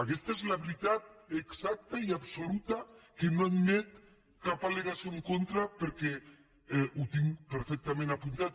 aquesta és la veritat exacta i absoluta que no admet cap al·legació en contra perquè ho tinc perfectament apuntat